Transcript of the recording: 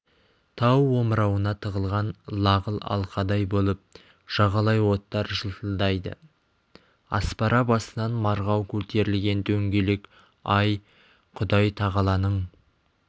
тау омырауына тығылған лағыл алқадай болып жағалай оттар жылтылдайды аспара басынан марғау көтерілген дөңгелек ай құдай-тағаланың